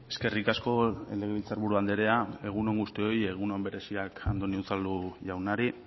eskerrik asko legebiltzarburu andrea egun on guztioi egun on bereziak andoni unzalu jaunari